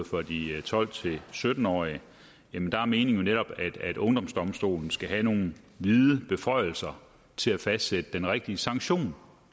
for de tolv til sytten årige er meningen jo netop at ungdomsdomstolen skal have nogle vide beføjelser til at fastsætte den rigtige sanktion